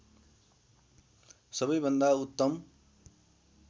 सबै भन्दा उत्तम